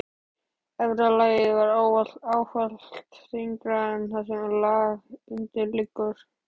Efra lagið er ávallt yngra en það sem undir liggur.